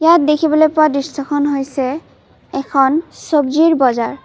ইয়াত দেখিবলৈ পোৱা দৃৰ্শ্যখন হৈছে এখন ছব্জিৰ বজাৰ।